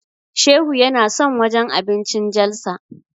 Shehu yana son wajen abincin Jalsa.